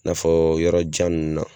I n'a fɔ yɔrɔ jan nun na.